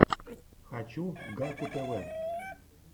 хочу гакку тв